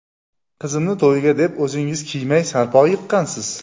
Qizimni to‘yiga deb, o‘zingiz kiymay, sarpo yiqqansiz.